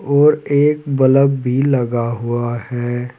और एक बल्ब भी लगा हुआ है।